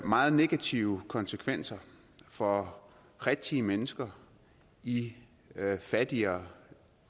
meget negative konsekvenser for rigtige mennesker i fattigere